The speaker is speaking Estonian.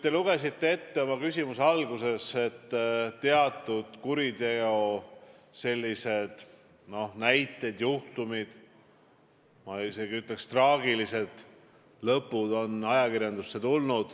Te lugesite oma küsimuse alguses ette, et teatud kuriteojuhtumid, ma isegi ütleks, et traagilise lõpuga juhtumid on ajakirjandusse jõudnud.